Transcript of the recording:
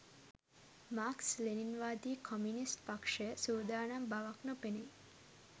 Marx ලෙනින්වාදී communist පක්ෂය සූදානම් බවක් නොපෙනෙයි